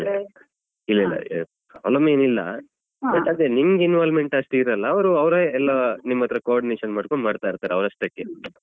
ಇಲ್ಲ ಇಲ್ಲ problem ಏನಿಲ್ಲ but ಅದೇ ನಿಮ್ಗ್ involvement ಅಷ್ಟಿರಲ್ಲ ಅವ್ರು ಅವ್ರೆ ಎಲ್ಲ ನಿಮ್ಮತ್ರ coordination ಮಾಡ್ಕೊಂಡು ಮಾಡ್ತಾ ಇರ್ತಾರೆ. ಅವ್ರಷ್ಟಕ್ಕೆ